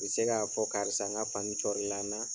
U bɛ se ka fɔ karisa n ka fani cɔri la n na.